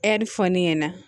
Ɛri fɔ ne ɲɛna